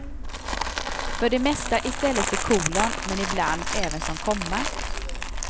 För det mesta i stället för kolon, men i bland även som komma.